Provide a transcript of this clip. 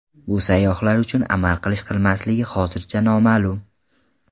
Bu sayyohlar uchun amal qilish-qilmasligi hozircha noma’lum.